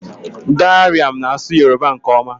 Darian na-asụ Yoruba nke ọma